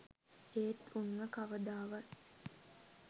ඒත් උන්ව කවදාවත්.